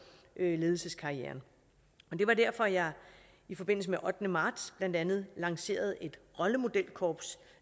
ledelseskarrieren det var derfor at jeg i forbindelse med ottende marts blandt andet lancerede et rollemodelkorps